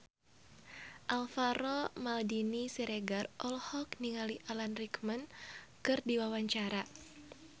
Alvaro Maldini Siregar olohok ningali Alan Rickman keur diwawancara